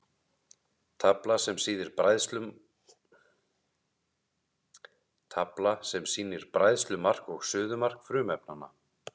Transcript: Tafla sem sýnir bræðslumark og suðumark frumefnanna.